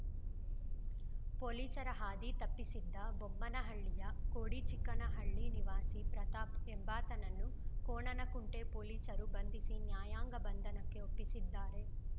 ಪೊಲೀಸರ ಹಾದಿ ತಪ್ಪಿಸಿದ್ದ ಬೊಮ್ಮನಹಳ್ಳಿಯ ಕೋಡಿಚಿಕ್ಕನಹಳ್ಳಿ ನಿವಾಸಿ ಪ್ರತಾಪ್‌ ಎಂಬಾತನನ್ನು ಕೋಣನಕುಂಟೆ ಪೊಲೀಸರು ಬಂಧಿಸಿ ನ್ಯಾಯಾಂಗ ಬಂಧನಕ್ಕೆ ಒಪ್ಪಿಸಿದ್ದಾರೆ